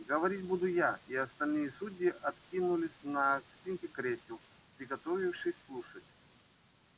говорить буду я и остальные судьи откинулись на спинки кресел приготовившись слушать